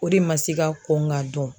O de ma se ka kɔn ka dɔn.